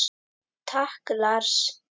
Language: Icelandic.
Takk Lars.